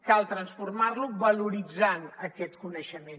cal transformar lo valoritzant aquest coneixement